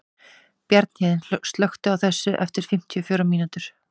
Bjarnhéðinn, slökktu á þessu eftir fimmtíu og fjórar mínútur.